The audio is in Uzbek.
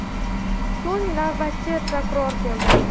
So‘ng navbatchi prokuror keldi.